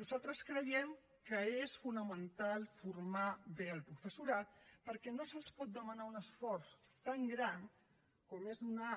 nosaltres creiem que és fonamental formar bé el professorat perquè no se’ls pot demanar un esforç tan gran com és donar